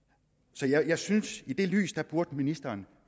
så jeg synes i det lys burde ministeren